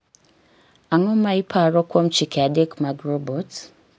Ang�o ma iparo kuom chike adek mag robot?